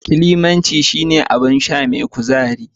Climaci shine abin sha mai kuzari